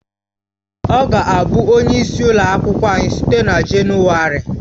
Ọ ga-abụ onye isi ụlọ akwụkwọ anyị site na Jenụwarị